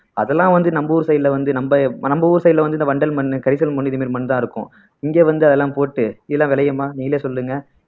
அதெல்லாம் வந்து நம்ம ஊர் side ல வந்து நம்ம நம்ம ஊர் side ல வந்து இந்த வண்டல் மண்ணு கரிசல் மண்ணு இந்த மாதிரி மண்தான் இருக்கும் இங்க வந்து அதெல்லாம் போட்டு எல்லாம் நிலம் விளையுமா நீங்களே சொல்லுங்க